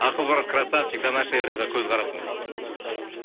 ақыл брат красавчик до нашей эры ға көзқарасыңыз дейді